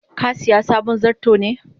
ka siya sabon zarto ne?